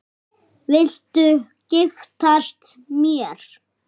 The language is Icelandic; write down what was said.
Viltu giftast mér?